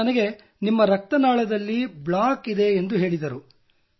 ಅವರು ನನಗೆ ನಿಮ್ಮ ರಕ್ತನಾಳದಲ್ಲಿ ಬ್ಲಾಕ್ ಇದೆ ಎಂದು ಹೇಳಿದರು